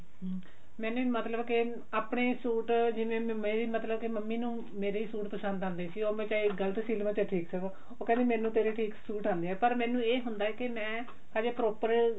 ਹਮ ਮੈਨੇ ਮਤਲਬ ਕੇ ਆਪਣੇ ਸੂਟ ਜਿਵੇਂ ਮੇਰੀ ਮਤਲਬ ਕੇ ਮੰਮੀ ਨੂੰ ਮੇਰੇ ਸੂਟ ਪਸੰਦ ਆਂਦੇ ਸੀ ਉਹ ਮੈਂ ਚਾਹੇ ਗਲਤ ਸੀਹ ਲਵਾ ਠੀਕ ਸੀਹ ਲਵਾਂ ਉਹ ਕਹਿੰਦੀ ਮੈਨੂੰ ਤੇਰੇ ਠੀਕ ਸੂਟ ਆਂਦੇ ਆ ਪਰ ਮੈਨੂੰ ਇਹ ਹੁੰਦਾ ਕਿ ਮੈਂ ਹਜੇ proper